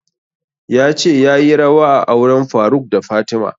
Ya ce yayi rawa a auren faruk da fatima